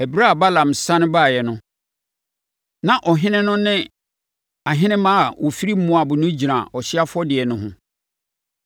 Ɛberɛ a Balaam sane baeɛ no, na ɔhene no ne ahenemma a wɔfiri Moab no gyina ɔhyeɛ afɔdeɛ no ho.